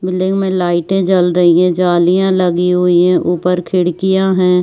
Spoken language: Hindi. बिल्डिंग में लाइटे जल रही है जालियां लगी हुई है ऊपर खिड़कियां हैं।